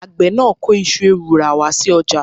Àgbẹ̀ náà kó iṣu ewùrà wá sí ọjà.